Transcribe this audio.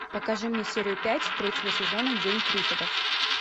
покажи мне серию пять третьего сезона день триффидов